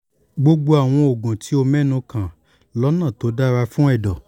gbogbo àwọn oògùn tí o mẹ́nu kàn lọ́nà tó dára fún ẹ̀dọ̀